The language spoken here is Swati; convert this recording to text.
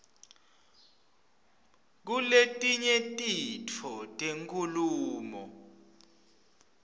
kuletinye titfo tenkhulumo